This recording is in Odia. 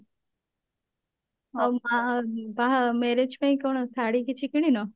ଆଉ ବାହା ବାହା marriage ପାଇଁ କଣ ଶାଢୀ କିଛି କିଣିନ